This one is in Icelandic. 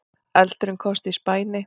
Eldurinn komst í spæni